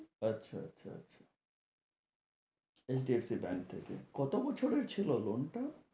আচ্ছা আচ্ছা আচ্ছা HDFC Bank থেকে, কত বছরের ছিল loan টা?